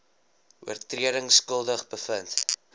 oortredings skuldig bevind